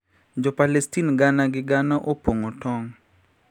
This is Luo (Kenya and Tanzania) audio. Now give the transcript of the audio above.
Jo Palestin gana gi gana opong`o tong`